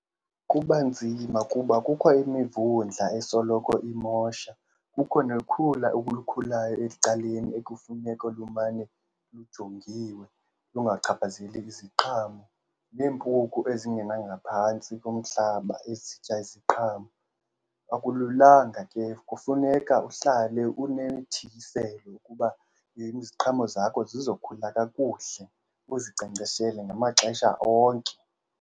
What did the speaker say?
Kuba nzima kuba kukho imivundla esoloko imosha, kukho nokhula olukhulayo ecaleni ekufuneka lumane lujongiwe lungachaphazeli iziqhamo. Neempuku ezingena ngaphantsi komhlaba ezitya iziqhamo. Akululanga ke, kufuneka uhlale unemithiyiselo kuba iziqhamo zakho zizokhula kakuhle, uzinkcenkceshele ngamaxesha onke.